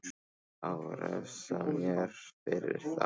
Á að refsa mér fyrir það?